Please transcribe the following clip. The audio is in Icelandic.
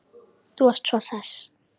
Þú varst svo hress.